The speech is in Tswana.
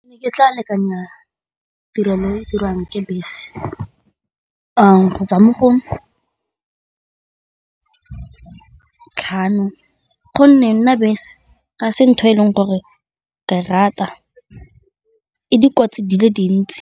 Ke tla lekanyetsa tirelo e e dirang ke bese a go tswa mo go tlhano gonne nna bese ga se ntho e leng gore ke a e rata, e dikotsi di le dintsi.